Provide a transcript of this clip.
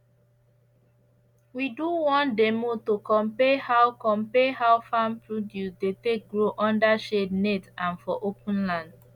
we do one demo to compare how compare how farm produce dey take grow under shade net and for open land